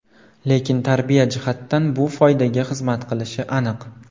Lekin tarbiya jihatidan bu foydaga xizmat qilishi aniq.